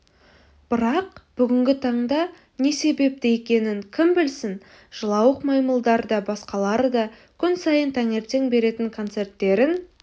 бірақ бүгінгі таңда не себепті екенін кім білсін жылауық маймылдар да басқалары да күн сайын таңертең беретін концерттерін